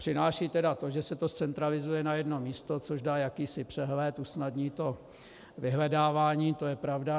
Přináší tedy to, že se to zcentralizuje na jedno místo, což dá jakýsi přehled, usnadní to vyhledávání, to je pravda.